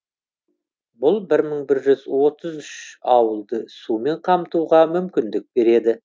бұл бір мың бір жүз отыз үш ауылды сумен қамтуға мүмкіндік береді